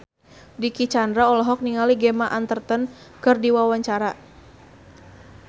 Dicky Chandra olohok ningali Gemma Arterton keur diwawancara